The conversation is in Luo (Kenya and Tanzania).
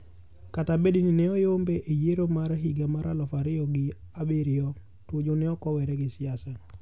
Kata bed ni ne oyombe e yiero ma higa mar eluf ario gi abirio, Tuju neokowere gi siasa.